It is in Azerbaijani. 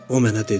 O mənə dedi: